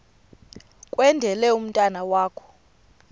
kwendele umntwana wakho